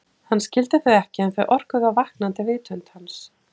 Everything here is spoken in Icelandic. Hann skildi þau ekki en þau orkuðu á vaknandi vitund hans.